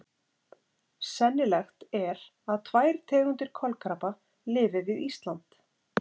Sennilegt er að tvær tegundir kolkrabba lifi við Ísland.